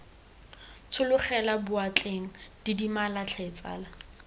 tshologela boatleng didimala tlhe tsala